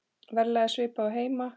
Verðlag er svipað og heima.